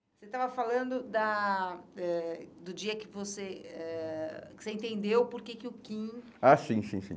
Você estava falando da eh do dia que você eh entendeu por que que o Quim... Ah, sim, sim, sim.